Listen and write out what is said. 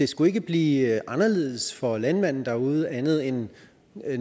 skulle blive anderledes for landmanden derude andet end